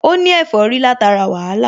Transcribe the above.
Ó ní ẹ̀fọ́rí látara wàhálà